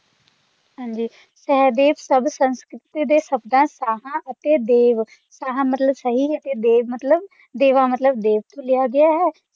ਹਾਂ ਜੀ ਸਹਿਦੇਵ ਸਭ ਸੰਸਕ੍ਰਿਤ ਦੇ ਸ਼ਬਦਾਂ ਸਾਹਾਂ ਅਤੇ ਦੇਵ ਸਾਹਾਂ ਮਤਲਬ ਸਹੀ ਤੇ ਦੇਵ ਮਤਲਬ ਦੇਵਾ ਮਤਲਬ ਦੇਵ ਤੋਂ ਲਿਆ ਗਿਆ ਹੈ